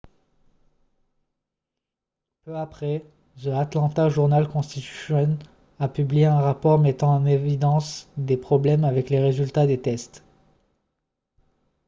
peu après the atlanta journal-constitution a publié un rapport mettant en évidence des problèmes avec les résultats des tests